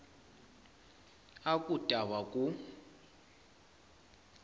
a ku ta va ku